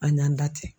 An y'an da ten